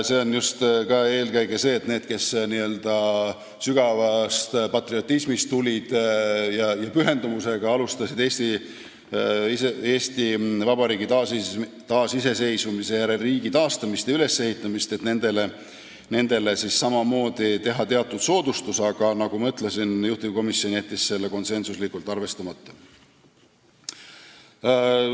See on mõeldud just eelkõige selleks, et nendele, kes n-ö sügavast patriotismist tulid ja pühendumusega alustasid Eesti Vabariigi taasiseseisvumise järel riigi taastamist ja ülesehitamist, samamoodi teha teatud soodustus, aga nagu ma ütlesin, juhtivkomisjon jättis selle konsensuslikult arvestamata.